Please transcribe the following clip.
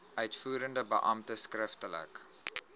uitvoerende beampte skriftelik